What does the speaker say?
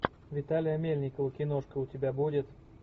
виталия мельникова киношка у тебя будет